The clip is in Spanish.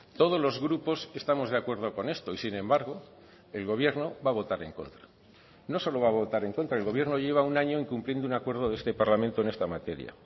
todos los grupos estamos de acuerdo con esto y sin embargo el gobierno va a votar en contra no solo va a votar en contra el gobierno lleva un año incumpliendo un acuerdo de este parlamento en esta materia